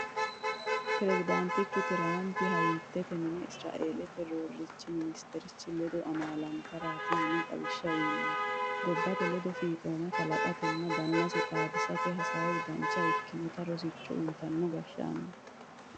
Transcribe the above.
Peresidaantichu Tiramaphi Hayatete Mine Isiraelete Roorichi Minsiterchi ledo amaalattarati yine xawishsha uyiinonni gobbate ledo fiixomma kalaqatenna dannase xaadisate hasaawu dancha ikkinotta rosicho uyittano gashshaanoti.